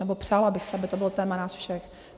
Nebo přála bych si, aby to bylo téma nás všech.